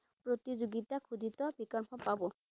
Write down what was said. প্রতিযোগিতাখোদিত বিকল্প পাব।